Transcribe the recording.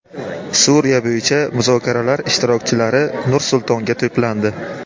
Suriya bo‘yicha muzokaralar ishtirokchilari Nur-Sultonga to‘plandi.